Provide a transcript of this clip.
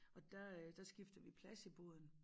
Og der øh der skifter vi plads i båden